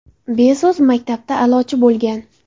Bezos maktabda a’lochi bo‘lgan.